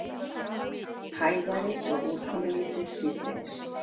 Hægari og úrkomulítið síðdegis